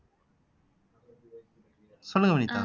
சொல்லுங்க வினிதா